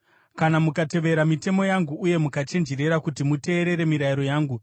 “ ‘Kana mukatevera mitemo yangu uye mukachenjerera kuti muteerere mirayiro yangu,